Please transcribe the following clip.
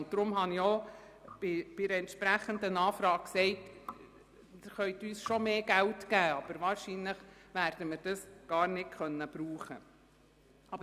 Aus diesem Grund habe ich auf eine entsprechende Anfrage geantwortet, dass Sie uns zwar mehr Geld geben können, wir dieses aber wahrscheinlich gar nicht brauchen können.